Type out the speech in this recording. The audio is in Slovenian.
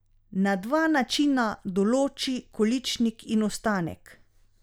Na dva načina določi količnik in ostanek.